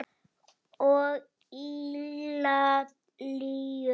Og Ítalíu.